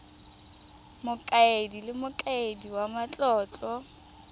mokaedi le mokaedi wa matlotlo